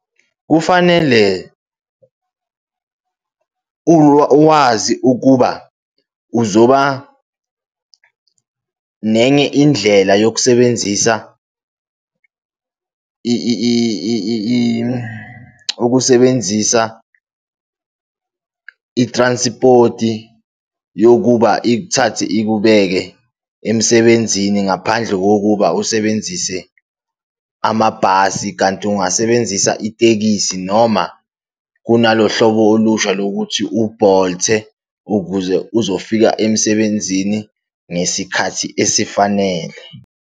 Kufanele wazi ukuba uzoba nenye indlela yokusebenzisa ukusebenzisa i-transport-i yokuba ikuthathe ikubeke emsebenzini ngaphandle kokuba usebenzise amabhasi. Kanti ungasebenzisa itekisi noma kunalo hlobo olusha lokuthi u-Bolt-e ukuze uzofika emsebenzini ngesikhathi esifanele.